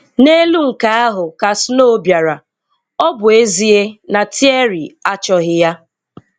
N'elu nke ahụ ka snow bịara, ọ bụ ezie na Thierry achọghị ya.